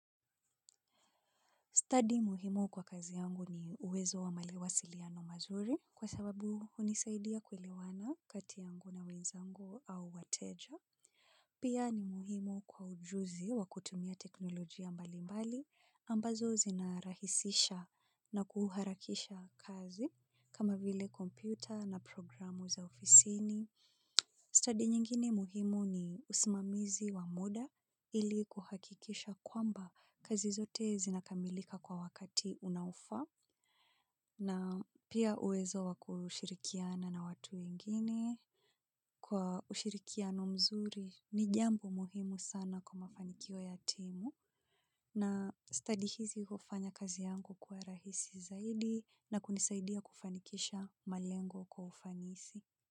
Study muhimu kwa kazi yangu ni uwezo wa malewa siliano mazuri kwa sababu hunisaidia kuelewana, kati yangu na wenzangu, au wateja. Pia, ni muhimu kwa ujuzi, wa kutumia teknolojia mbali mbali, ambazo zinarahisisha na kuharakisha kazi, kama vile kompyuta na programu za ofisini. Study nyingine muhimu ni usimamizi wa muda, ili kuhakikisha kwamba, kazi zote zinakamilika kwa wakati, unaofaa. Na pia uwezo wa kushirikiana na watu wengine, kwa ushirikiano mzuri ni jambo, muhimu sana kwa mafanikio ya timu na study hizi hufanya kazi yangu kuwa rahisi zaidi na kunisaidia kufanikisha malengo kwa ufanisi.